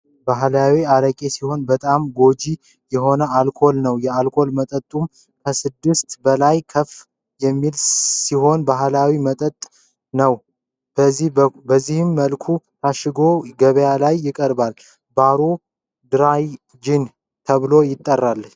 ባህላዊ አረቄ ሲሆን በጣም ጎጂ የሆነ የአልኮል ነው ። የአልኮል መጠኑም ከስድስት በላይ ከፍ የሚል ሲሆን ባህላዊ መጠጥ ነው ። በዚህ መልኩ ታሸጎ ገበያ ላይ ይቀርባል። ባሮ ድራይ ጅን ተብሏል ትጠራለች።